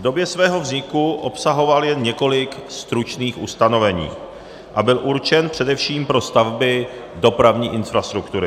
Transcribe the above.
V době svého vzniku obsahoval jen několik stručných ustanovení a byl určen především pro stavby dopravní infrastruktury.